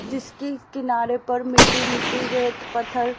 जिसकी किनारे पर मिट्टी मिट्टी रेत पत्थर--